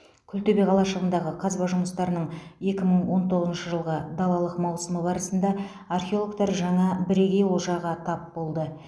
күлтөбе қалашығындағы қазба жұмыстарының екі мың он тоғызыншы жылғы далалық маусымы барысында археологтар жаңа бірегей олжаға тап болды